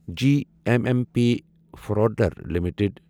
جی M M P فوڈلر limited